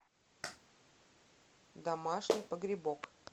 домашний погребок